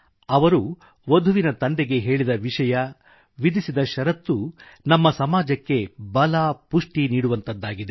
ಅವರು ವಧುವಿನ ತಂದೆಗೆ ಹೇಳಿದ ವಿಷಯ ವಿಧಿಸಿದ ಷರತ್ತನ್ನು ನಮ್ಮ ಸಮಾಜಕ್ಕೆ ಬಲ ಪುಷ್ಟಿ ನೀಡುವಂಥದ್ದಾಗಿದೆ